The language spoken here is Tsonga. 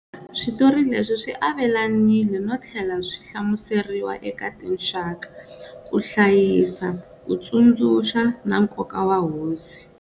Switori leswi swi avelanile no tlhela swi hlamuseriwa eka tinxaka, ku hlayisa ku tsundzuka na nkoka wa hosi